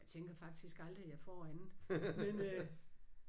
Jeg tænker faktisk aldrig jeg får andet men øh